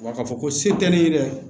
Wa ka fɔ ko se tɛ ne ye dɛ